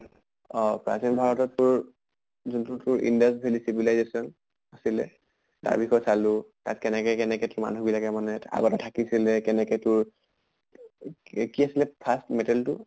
অ প্ৰাচীন ভাৰতত তোৰ যোনটো তোৰ indus valley civilization আছিলে, তাৰ বিষয়ে চালো তাত কেনেকে কেনেকে মানুহ তো বিলাকে আগতে থাকিছিলে, কেনেকে তোৰ কি কি আছিলে first metal টো